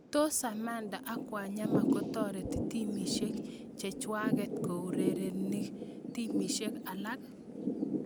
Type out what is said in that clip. Tos Samatta ak Wanyama kotoreti timisiek chechwaget kourerenibak timisiek alak?